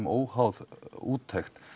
óháð úttekt